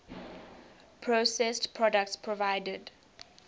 processed products provided